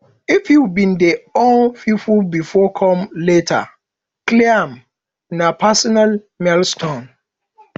if you been dey owe pipo before come later clear am na personal milestone